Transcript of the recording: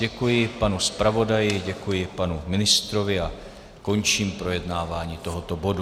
Děkuji panu zpravodaji, děkuji panu ministrovi a končím projednávání tohoto bodu.